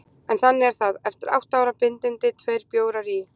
En þannig er það: Eftir átta ára bindindi, tveir bjórar í